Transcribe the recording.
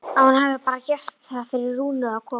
Að hún hafi bara gert það fyrir Rúnu að koma.